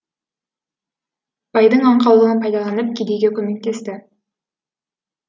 байдың аңқаулығын пайдаланып кедейге көмектесті